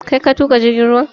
Kai ka tuƙa jirgin ruwan?